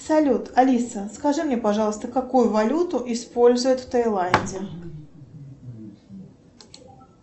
салют алиса скажи мне пожалуйста какую валюту используют в таиланде